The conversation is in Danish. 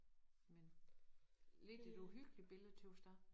Men lidt et uhyggeligt billede tøs jeg